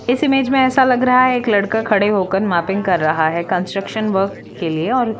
इस इमेज में ऐसा लग रहा है एक लड़का खड़ा होकर मैपिंग कर रहा है कंस्ट्रक्शन वर्क के लिए और--